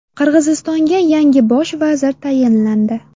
Qirg‘izistonga yangi bosh vazir tayinlandi.